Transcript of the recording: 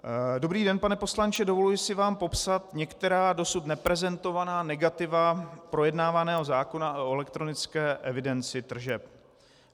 Dobrý den, pane poslanče, dovoluji si vám popsat některá dosud neprezentovaná negativa projednávaného zákona o elektronické evidenci tržeb.